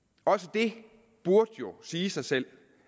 det burde sige sig selv